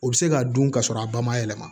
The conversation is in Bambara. O bɛ se k'a dun ka sɔrɔ a ba ma yɛlɛma